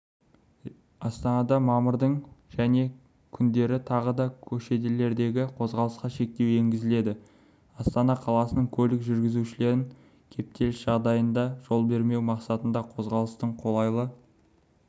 астанада мамырдың және күндері тағы да көшелердегі қозғалысқа шектеу енгізіледі астана қаласының көлік жүргізушілерін кептеліс жағдайларына жол бермеу мақсатында қозғалыстың қолайлы